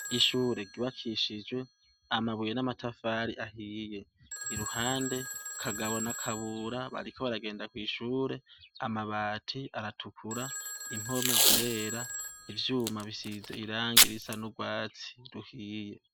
Ishuri ryubakishijwe amabuye n'amatafari ahiye, iruhande Kagabo na Kabura bariko baragenda kw'ishure, amabati aratukura, impome zirera, ivyuma bisize irangi risa n'urwatsi ruhiye.